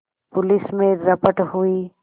police में रपट हुई